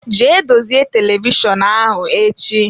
Jee dozie televishọnụ ahụ echi!